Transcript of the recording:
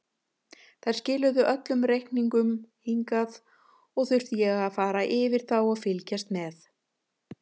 Þær skiluðu öllum reikningum hingað og þurfti ég að fara yfir þá og fylgjast með.